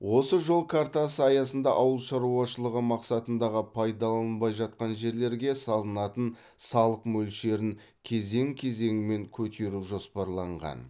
осы жол картасы аясында ауыл шаруашылығы мақсатындағы пайдаланылмай жатқан жерлерге салынатын салық мөлшерін кезең кезеңмен көтеру жоспарланған